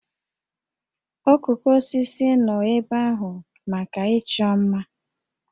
Okooko osisi nọ ebe ahụ maka ịchọ mma